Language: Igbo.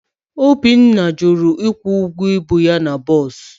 Obinna jụrụ ịkwụ ụgwọ ibu ya na bọs